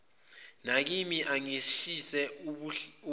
nakimi angishise ubuhanguhangu